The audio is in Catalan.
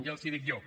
ja els ho dic jo